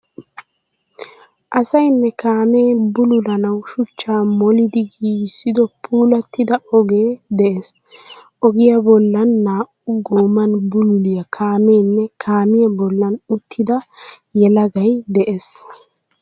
Asayinne kaame buululanawu shuchchaa molidi giigisido puulatida oge de"ees. Ogiya boollan naa"u gooman buululiya kaamenne kaamiya boollan uttida yeelagayi de"ees.